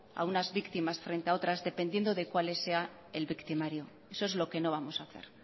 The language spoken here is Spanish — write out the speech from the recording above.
a unas víctimas frente a otras dependiendo de cuál sea el victimario eso es lo que no vamos a hacer